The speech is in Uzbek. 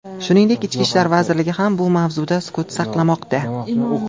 Shuningdek, Ichki ishlar vazirligi ham bu mavzuda sukut saqlamoqda.